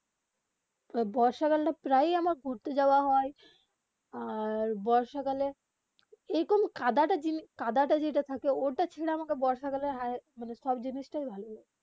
বর্ষাকাল তা প্রায় আমার ঘুরতে যাওবা হয়ে আর বর্ষাকালে এইরকম কাদা তা যেটা থাকে ওটা ছেড়ে আমাকে বর্ষাকালে সব জিনিস তা ভালো লাগে